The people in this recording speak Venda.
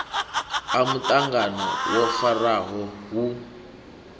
a muṱangano wo farwaho hu